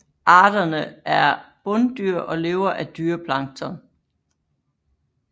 Arterne er bunddyr og lever af dyreplankton